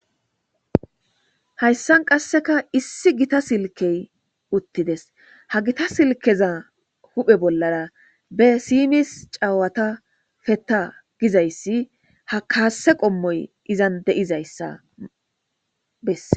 Hayssan qasseka issi gita silkey uttides. Ha gita silkeza huphe bollara be simis caawata fetta giza issi ha kaasse qommoy izan diza issa besses.